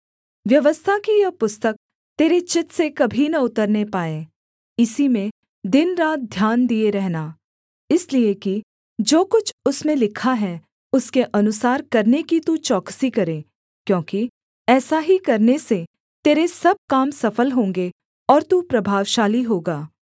व्यवस्था की यह पुस्तक तेरे चित्त से कभी न उतरने पाए इसी में दिनरात ध्यान दिए रहना इसलिए कि जो कुछ उसमें लिखा है उसके अनुसार करने की तू चौकसी करे क्योंकि ऐसा ही करने से तेरे सब काम सफल होंगे और तू प्रभावशाली होगा